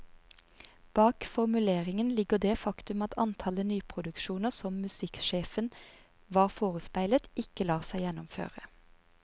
Bak formuleringen ligger det faktum at antallet nyproduksjoner som musikksjefen var forespeilet, ikke lar seg gjennomføre.